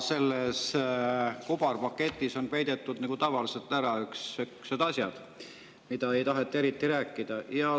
Selles kobarpaketis on peidetud nagu tavaliselt ära need asjad, millest ei taheta eriti rääkida.